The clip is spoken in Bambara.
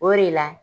O de la